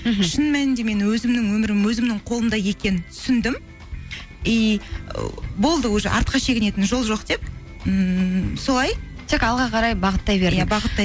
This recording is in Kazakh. мхм шын мәнінде мен өзімнің өмірім өзімнің қолымда екенін түсіндім болды уже артқа шегінетін жол жоқ деп ммм солай тек алға қарай бағыттай бердің